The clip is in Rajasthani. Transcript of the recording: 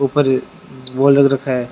ऊपर वो अलग रखा है।